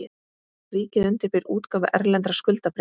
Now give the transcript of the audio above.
Ríkið undirbýr útgáfu erlendra skuldabréfa